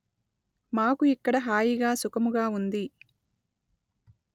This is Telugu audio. మాకు ఇక్కడ హాయిగా సుఖముగా ఉంది